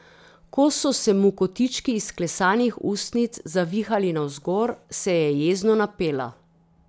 Ko so se mu kotički izklesanih ustnic zavihali navzgor, se je jezno napela.